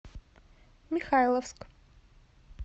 михайловск